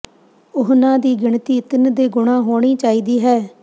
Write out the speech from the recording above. ਉਹਨਾਂ ਦੀ ਗਿਣਤੀ ਤਿੰਨ ਦੇ ਗੁਣਾਂ ਹੋਣੀ ਚਾਹੀਦੀ ਹੈ